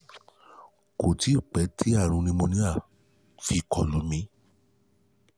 kò tíì pẹ́ tí àrùn pneumonia fi kọ lù mí